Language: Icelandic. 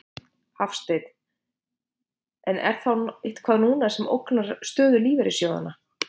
Hafsteinn: En er þá eitthvað núna sem ógnar stöðu lífeyrissjóðanna?